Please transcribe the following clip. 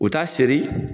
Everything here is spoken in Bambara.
U t'a seri